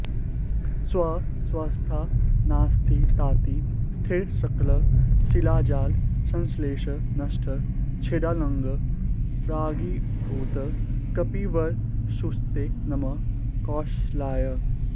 स्वस्वस्थानस्थिताति स्थिरशकल शिलाजाल संश्लेष नष्ट छेदाङ्कः प्रागिवाभूत् कपिवरवपुषस्ते नमः कौशलाय